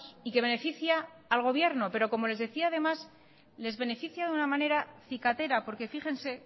y que beneficia al gobierno pero como les decía además les beneficia de una manera cicatera por que fíjense